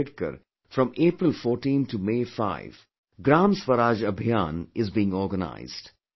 Ambedkar from April 14 to May 5 'GramSwaraj Abhiyan,' is being organized